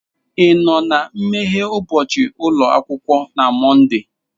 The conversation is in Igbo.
Ị nọ na nmeghe ụbọchị ụlọ akwụkwọ na Mọnde?